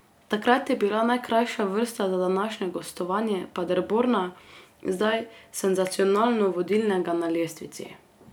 Takrat je bila najkrajša vrsta za današnje gostovanje Paderborna, zdaj senzacionalno vodilnega na lestvici.